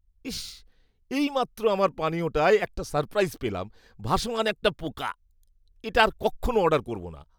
ইশ্, এইমাত্র আমার পানীয়টায় একটা সারপ্রাইজ পেলাম, ভাসমান একটা পোকা। এটা আর কক্ষণও অর্ডার করবো না।